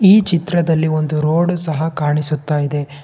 ಈ ಚಿತ್ರದಲ್ಲಿ ಒಂದು ರೋಡು ಸಹ ಕಾಣಿಸುತ್ತಾ ಇದೆ.